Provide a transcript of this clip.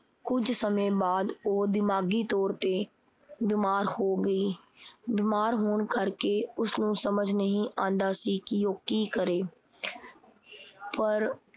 ਕੁਝ ਸਮੇਂ ਬਾਦ ਉਹ ਦਿਮਾਗੀ ਤੌਰ ਤੇ ਬਿਮਾਰ ਹੋ ਗਈ। ਬਿਮਾਰ ਹੋਣ ਕਰਕੇ ਉਸਨੂੰ ਸਮਝ ਨਹੀਂ ਆਂਦਾ ਸੀ ਕੀ ਉਹ ਕੀ ਕਰੇ। ਪਰ